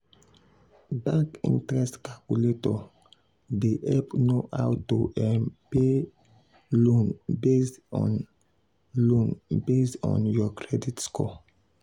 um bank interest calculator dey help know how to um pay um loan based on loan based on your credit score.